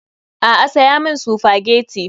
A'a saya min spaghetti.